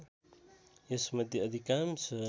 यस मध्ये अधिकांश